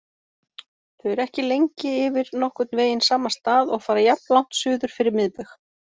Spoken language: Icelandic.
Þau eru ekki lengi yfir nokkurn veginn sama stað og fara jafnlangt suður fyrir miðbaug.